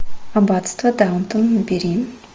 аббатство даунтон набери